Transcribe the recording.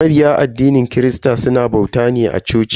Mabiya addinin christa suna bauta ne a coci.